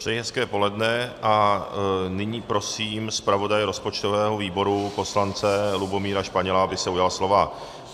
Přeji hezké poledne a nyní prosím zpravodaje rozpočtového výboru poslance Lubomíra Španěla, aby se ujal slova.